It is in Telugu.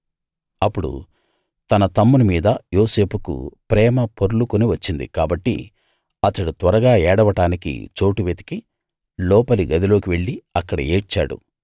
అప్పుడు తన తమ్ముని మీద యోసేపుకు ప్రేమ పొర్లుకుని వచ్చింది కాబట్టి అతడు త్వరగా ఏడవడానికి చోటు వెతికి లోపలి గదిలోకి వెళ్ళి అక్కడ ఏడ్చాడు